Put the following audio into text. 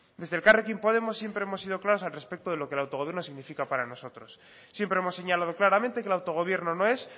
desde elkarrekin podemos siempre hemos sido claros al respecto de lo que el autogobierno significa para nosotros siempre hemos señalado claramente que el autogobierno no es